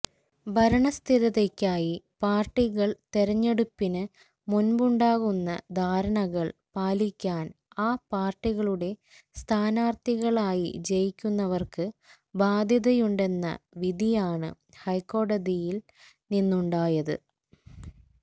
ഭരണസ്ഥിരതയ്ക്കായി പാര്ട്ടികള് തെരഞ്ഞെടുപ്പിന് മുന്പുണ്ടാക്കുന്ന ധാരണകള് പാലിക്കാന് ആ പാര്ട്ടികളുടെ സ്ഥാനാര്ഥികളായി ജയിക്കുന്നവര്ക്ക് ബാധ്യതയുണ്ടെന്ന വിധിയാണ് ഹൈക്കോടതിയില് നിന്നുണ്ടായത്